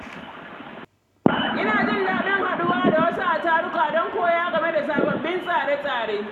Ina jin daɗin haɗuwa da wasu a taruka don koya game da sabbin tsare-tsare.